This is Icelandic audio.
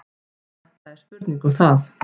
Þetta er spurning um það.